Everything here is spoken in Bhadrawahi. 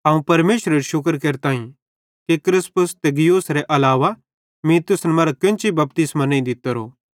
अवं परमेशरेरू शुक्र केरताईं कि क्रिस्पुस ते गयुसेरू अलावा मीं तुसन मरां केन्ची बपतिस्मो नईं दित्तोरो